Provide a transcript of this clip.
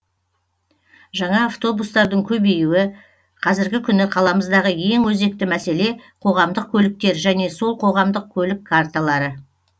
жаңа автобустардың көбеюі қазіргі күні қаламыздағы ең өзекті мәселе қоғамдық көліктер және сол қоғамдық көлік карталары